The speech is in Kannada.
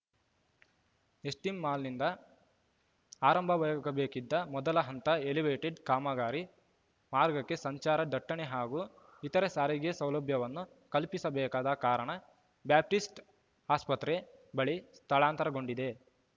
ಎಸ್ಟಿಂ ಮಾಲ್‌ನಿಂದ ಆರಂಭವಾಗಬೇಕಿದ್ದ ಮೊದಲ ಹಂತ ಎಲಿವೇಟೆಡ್ ಕಾಮಗಾರಿ ಮಾರ್ಗಕ್ಕೆ ಸಂಚಾರ ದಟ್ಟಣೆ ಹಾಗೂ ಇತರೆ ಸಾರಿಗೆ ಸೌಲಭ್ಯವನ್ನು ಕಲ್ಪಿಸಬೇಕಾದ ಕಾರಣ ಬ್ಯಾಪ್ಟಿಸ್ಟ್ ಆಸ್ಪತ್ರೆ ಬಳಿ ಸ್ಥಳಾಂತರಗೊಂಡಿದೆ